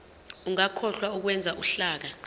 ungakhohlwa ukwenza uhlaka